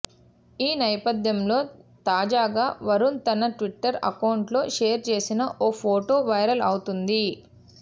ఈ నేపథ్యంలో తాజాగా వరుణ్ తన ట్విట్టర్ అకౌంట్లో షేర్ చేసిన ఓ ఫోటో వైరల్ అవుతోంది